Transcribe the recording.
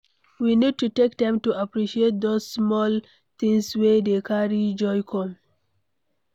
We need to take time to appreciate those small things wey dey carry joy come